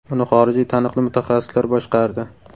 Uni xorijiy taniqli mutaxassislar boshqardi.